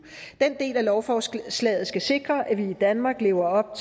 den del af lovforslaget skal sikre at vi i danmark lever op